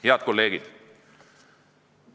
Head kolleegid!